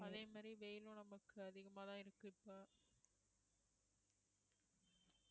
அதே மாதிரி வெயிலும் நமக்கு அதிகமாதான் இருக்கு இப்ப